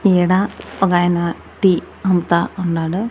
ఈడ ఒకాయన టీ అమ్ముతా ఉన్నాడు.